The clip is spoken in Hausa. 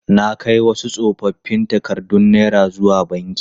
Na kai wasu tsofoffin takardun naira zuwa banki.